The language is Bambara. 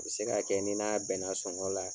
A be se ka kɛ n'i n'a bɛnna sɔngɔ la